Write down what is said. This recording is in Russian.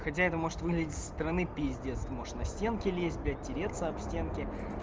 хотя это может выглядеть со стороны пиздец ты можешь на стенки лезть блять тереться об стенки